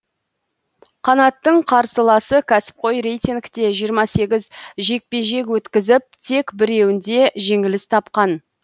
қанаттың қарсыласы кәсіпқой рейтингте жиырма сегіз жекпе жек өткізіп тек біреуінде жеңіліс тапқан